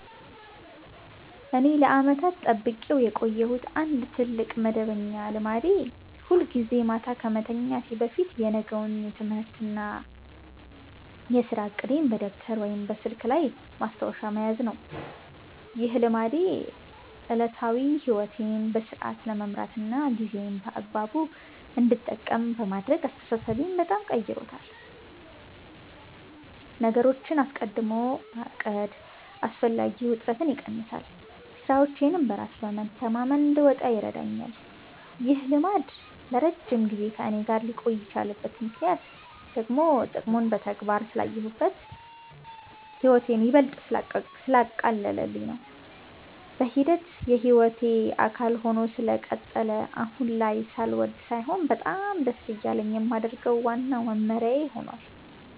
እኔ ለዓመታት ጠብቄው የቆየሁት አንድ ትልቅ መደበኛ ልማዴ ሁልጊዜ ማታ ከመተኛቴ በፊት የነገውን የትምህርትና የሥራ ዕቅዴን በደብተር ወይም በስልኬ ላይ ማስታወሻ መያዝ ነው። ይህ ልማዴ ዕለታዊ ሕይወቴን በሥርዓት ለመምራትና ጊዜዬን በአግባቡ እንድጠቀም በማድረግ አስተሳሰቤን በጣም ቀርጾታል። ነገሮችን አስቀድሞ ማቀድ አላስፈላጊ ውጥረትን ይቀንሳል፤ ሥራዎቼንም በራስ መተማመን እንድወጣ ይረዳኛል። ይህ ልማድ ለረጅም ጊዜ ከእኔ ጋር ሊቆይ የቻለበት ምክንያት ደግሞ ጥቅሙን በተግባር ስላየሁትና ሕይወቴን ይበልጥ ስላቀለለልኝ ነው። በሂደት የሕይወቴ አካል ሆኖ ስለቀጠለ አሁን ላይ ሳልወድ ሳይሆን በጣም ደስ እያለኝ የማደርገው ዋናው መመሪያዬ ሆኗል።